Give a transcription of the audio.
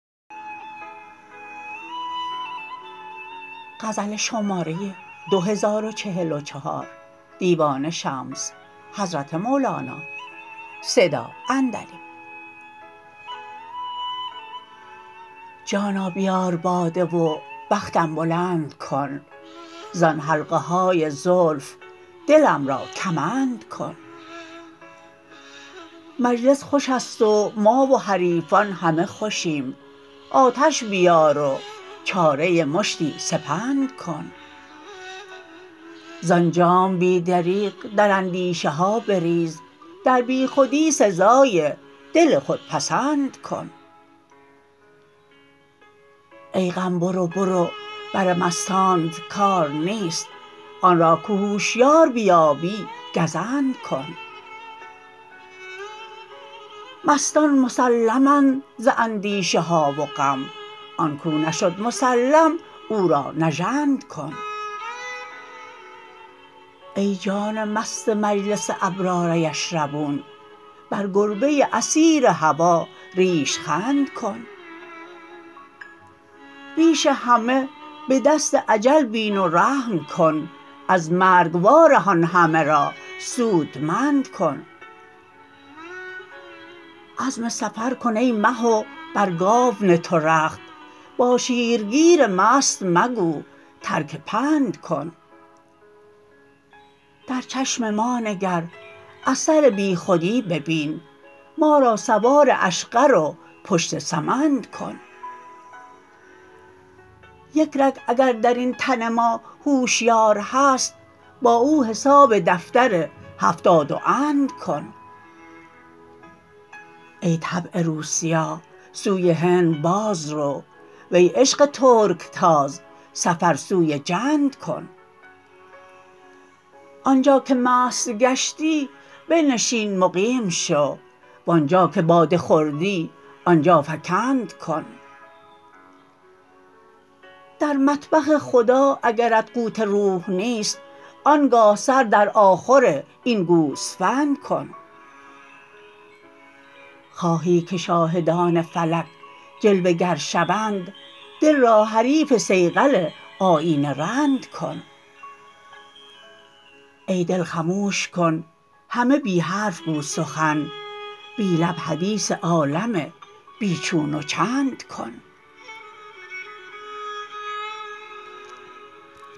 جانا بیار باده و بختم بلند کن زان حلقه های زلف دلم را کمند کن مجلس خوش است و ما و حریفان همه خوشیم آتش بیار و چاره مشتی سپند کن زان جام بی دریغ در اندیشه ها بریز در بیخودی سزای دل خودپسند کن ای غم برو برو بر مستانت کار نیست آن را که هوشیار بیابی گزند کن مستان مسلمند ز اندیشه ها و غم آن کو نشد مسلم او را نژند کن ای جان مست مجلس ابرار یشربون بر گربه اسیر هوا ریش خند کن ریش همه به دست اجل بین و رحم کن از مرگ وارهان همه را سودمند کن عزم سفر کن ای مه و بر گاو نه تو رخت با شیرگیر مست مگو ترک پند کن در چشم ما نگر اثر بیخودی ببین ما را سوار اشقر و پشت سمند کن یک رگ اگر در این تن ما هوشیار هست با او حساب دفتر هفتاد و اند کن ای طبع روسیاه سوی هند باز رو وی عشق ترک تاز سفر سوی جند کن آن جا که مست گشتی بنشین مقیم شو و آن جا که باده خوردی آن جا فکند کن در مطبخ خدا اگرت قوت روح نیست آن گاه سر در آخر این گوسفند کن خواهی که شاهدان فلک جلوه گر شوند دل را حریف صیقل آیینه رند کن ای دل خموش کن همه بی حرف گو سخن بی لب حدیث عالم بی چون و چند کن